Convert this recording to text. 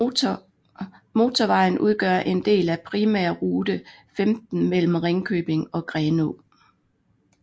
Motorvejen udgør en del af Primærrute 15 mellem Ringkøbing og Grenå